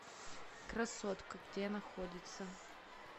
красотка где находится